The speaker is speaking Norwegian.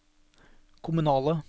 kommunale